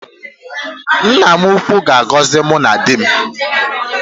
Nna m ukwu ga-agọzi mụ na di m